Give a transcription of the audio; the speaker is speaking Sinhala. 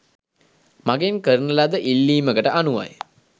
මගෙන් කරන ලද ඉල්ලීමකට අනුවයි.